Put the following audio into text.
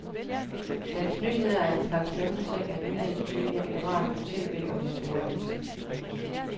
Dens nyheder er en slags mellemting af nyhedstyperne i radio tv og de store aviser. punktum